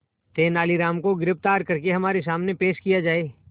तेनालीराम को गिरफ्तार करके हमारे सामने पेश किया जाए